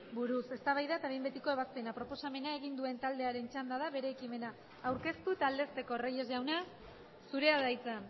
buruz eztabaida eta behin betiko ebazpena proposamena egin duen taldearen txanda da bere ekimena aurkeztu eta aldezteko reyes jauna zurea da hitza